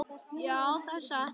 Já, það er satt.